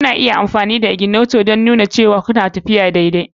Kuna iya amfani da ignator don nuna cewa kuna tafiya daidai.